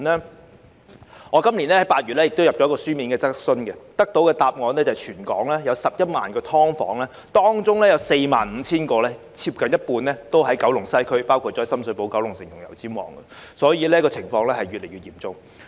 就我今年8月提交的一項書面質詢，政府回覆指全港有11萬個"劏房"，當中有 45,000 個位於九龍西，包括深水埗、九龍城和油尖旺區，可見情況越來越嚴重。